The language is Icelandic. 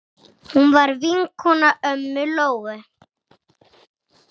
Hún var vinkona ömmu Lóu.